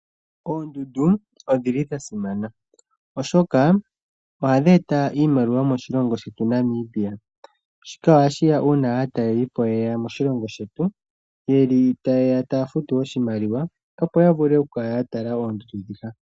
Oondundu odhi li dhasimana oshoka ohadhi eta iimaliwa moshilongo shetu Namibia. Shika ohashiya uuna aatalelipo yeya moshilongo shetu yeli tayeya taya futu oshimaliwa opo yavule okukala yatala oondundu dhika.